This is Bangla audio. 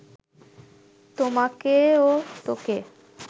তোমাকে ও তোকে